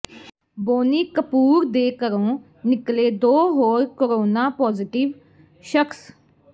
ਬੋਨੀ ਕਪੂਰ ਦੇ ਘਰੋਂ ਨਿਕਲੇ ਦੋ ਹੋਰ ਕੋਰੋਨਾ ਪਾਜ਼ੀਟਿਵ ਸ਼ਖਸ